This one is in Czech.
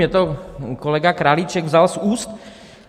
Mně to kolega Králíček vzal z úst.